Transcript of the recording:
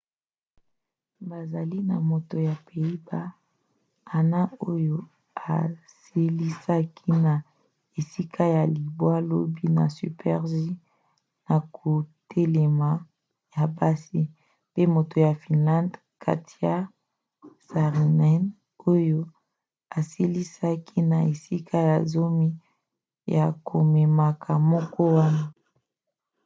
bazali na moto ya pays-bas anna jochemsen oyo asilisaki na esika ya libwa lobi na super-g ya kotelema ya basi pe moto ya finlande katja saarinen oyo asilisaki na esika ya zomi na komekama moko wana